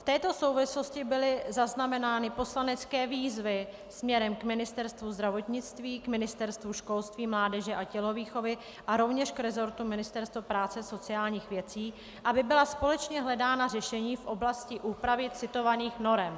V této souvislosti byly zaznamenány poslanecké výzvy směrem k Ministerstvu zdravotnictví, k Ministerstvu školství, mládeže a tělovýchovy a rovněž k resortu Ministerstva práce a sociálních věcí, aby byla společně hledána řešení v oblasti úpravy citovaných norem.